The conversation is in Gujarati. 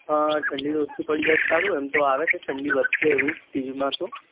હા ઠંડી તો ઓછી પડી જય તો સારું ને એમ તો આવે છે ઠંડી વધશે એવું TV માં તો